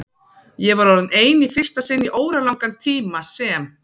Ég var orðin ein í fyrsta sinn í óralangan tíma sem